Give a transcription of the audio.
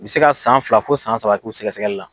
N bɛ se ka san fila fo san saba k'u sɛgɛ sɛgɛli la.